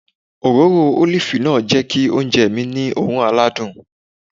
Òróró ólìfù náà jẹ́ kí oúnjẹ mi ní oòrùn aládùn